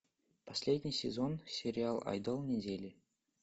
последний сезон сериал айдол недели